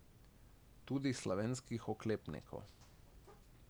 Tudi slovenskih oklepnikov.